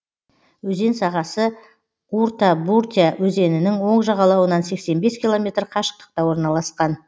өзен сағасы уртабуртя өзенінің оң жағалауынан сексен бес километр қашықтықта орналасқан